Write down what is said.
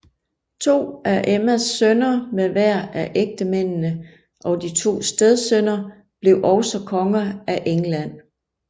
To af Emmas sønner med hver af ægtemændene og to stedsønner blev også konger af England